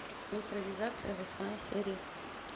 импровизация восьмая серия